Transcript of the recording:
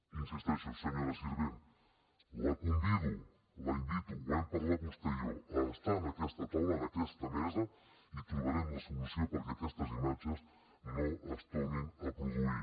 hi insisteixo senyora sirvent la convido la invito ho hem parlat vostè i jo a estar en aquesta taula en aquesta mesa i trobarem la solució perquè aquestes imatges no es tornin a produir